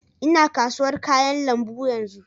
Ina kasuwar kayan lambu yanzu